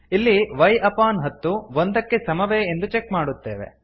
ಇಲ್ಲಿ y ಅಪಾನ್ ಹತ್ತು ಒಂದಕ್ಕೆ ಸಮವೇ ಎಂದು ಚೆಕ್ ಮಾಡುತ್ತೇವೆ